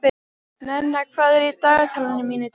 Nenna, hvað er á dagatalinu mínu í dag?